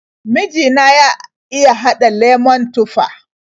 Miji na ya iya haɗa lemon tufah.